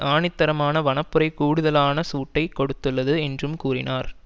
ஆணித்தரமான வனப்புரை கூடுதலான சூட்டை கொடுத்துள்ளது என்றும் கூறினார்